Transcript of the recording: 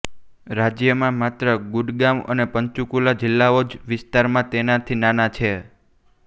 રાજ્યમાં માત્ર ગુડગાંવ અને પંચકુલા જિલ્લાઓ જ વિસ્તારમાં તેનાથી નાના છે